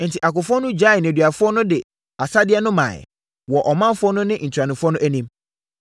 Enti, akofoɔ no gyaee nneduafoɔ no de asadeɛ no maeɛ, wɔ ɔmanfoɔ no ne ntuanofoɔ no anim.